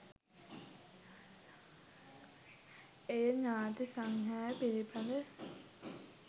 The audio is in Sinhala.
එය ඥාති සංග්‍රහය පිළිබඳ